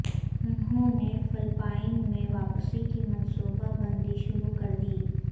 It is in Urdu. انہوں نے فلپائن میں واپسی کی منصوبہ بندی شروع کردی